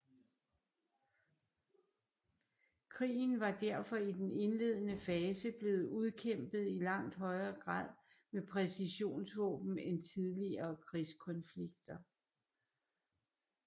Krigen var derfor i den indledende fase blevet udkæmpet i langt højere grad med præcisionsvåben end tidligere krigskonflikter